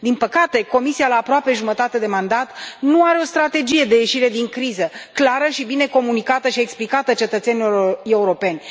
Din păcate, Comisia, la aproape jumătate de mandat, nu are o strategie de ieșire din criză clară și bine comunicată și explicată cetățenilor europeni.